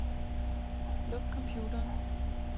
Luk computeren.